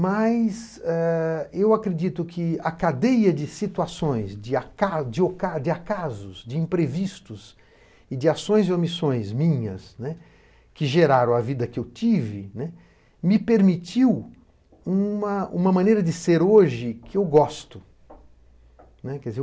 Mas eu acredito que a cadeia de situações, de acasos, de imprevistos e de ações e omissões minhas, que geraram a vida que eu tive, me permitiu uma maneira de ser hoje que eu gosto.